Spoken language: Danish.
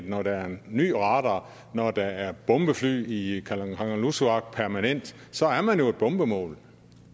når der er en ny radar og når der er bombefly i kangerlussuaq permanent så er man jo et bombemål